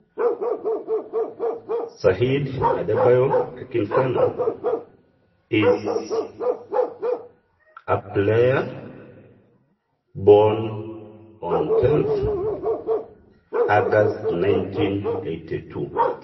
Saheed Adebayo Akinfenwa na olaigurani lotoiwoki 10 olapa lemiet 1982